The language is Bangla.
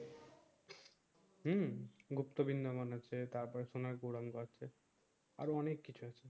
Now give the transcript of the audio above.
হম গুপ্ত বিন্দাবন আছে টার পর সোনার আছে আরো অনেক কিছু আছে